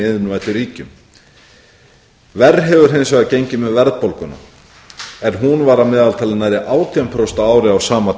iðnvæddu ríkjum verr hefur hins vegar gengið með verðbólguna en hún var að meðaltali nærri átján prósent á ári á sama